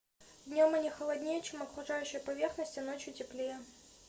днём они холоднее чем окружающая поверхность а ночью теплее